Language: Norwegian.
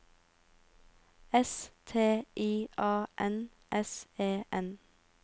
S T I A N S E N